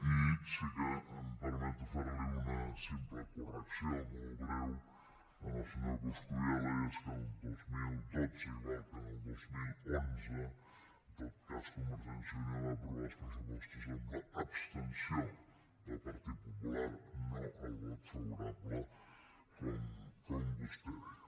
i sí que em permeto fer li una simple correcció molt breu al senyor coscubiela i és que el dos mil dotze igual que en el dos mil onze en tot cas convergència i unió va aprovar els pressupostos amb l’abstenció del partit popular no el vot favorable com vostè deia